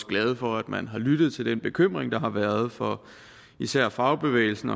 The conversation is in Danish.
glade for at man har lyttet til den bekymring der har været fra især fagbevægelsen